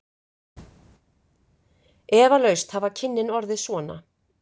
Eflaust hafa kynnin orðið svona.